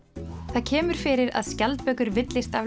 það kemur fyrir að skjaldbökur villist af